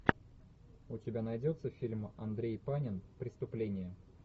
у тебя найдется фильм андрей панин преступление